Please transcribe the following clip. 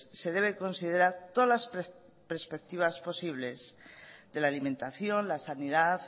se debe considerar todas las perspectivas posibles de la alimentación la sanidad